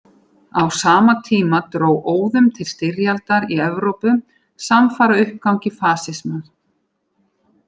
Á sama tíma dró óðum til styrjaldar í Evrópu samfara uppgangi fasismans.